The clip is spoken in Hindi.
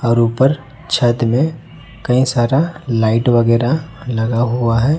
और ऊपर छत में कई सारा लाइट वगैरह लगा हुआ है।